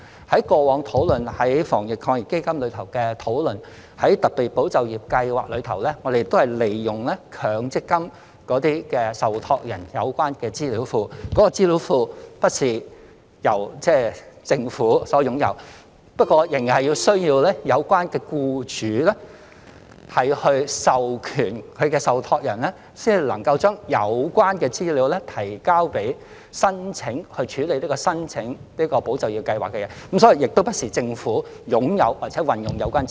在過往討論防疫抗疫基金時，在特備"保就業"計劃中，我們也是利用強積金受託人的有關資料庫，而這個資料庫並不是由政府擁有的，仍然需要有關僱主授權其受託人，才能夠把有關資料提交，從而申請"保就業"計劃，所以問題不在於政府是否擁有和可否運用有關資料。